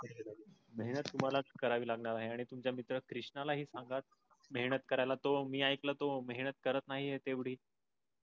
नाही ना तुम्हाला कळावी लागणार आहे. आणि तुमचा मित्र कृष्णाला हे सांगा मेहनत करायला त्यो मी ऐकल त्यो मेहनत करत नाही तेवडी.